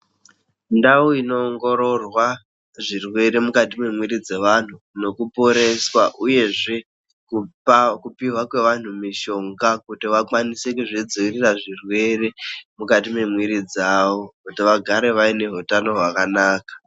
Ndau inoongororwa, zvirwere mukati mwemwiri dzevanhu nokuporeswa, uyezve kupa kupiwa kweanhu mishonga, kuti vakwanise kuzvidziirira zvirwere ,mukati mwemwiri dzavo, kuti vagare vaine hutano hwakanaka.